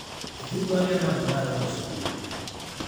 Eitu duake anap ndaa aloito sukul